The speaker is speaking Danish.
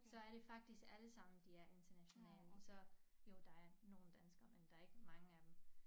Så er det faktisk alle sammen de er internationale så jo der er nogle danskere men der ikke mange af dem